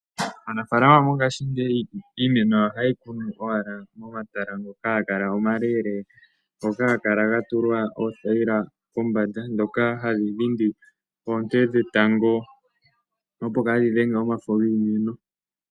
Aanafalama mongashingeyi iimeno yawo ohaye yi kunu owala momatala ngoka haga kala omaleeleeka, ngoka haga kala ga tulwa oothayila pombanda ndhoka hadhi dhindi oonte dhetango, opo kaadhi dhenge omafo giimeno.